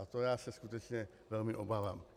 A toho já se skutečně velmi obávám.